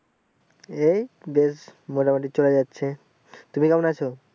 এই বেশ মোটামুটি চলে যাচ্ছে তুমি কেমন আছো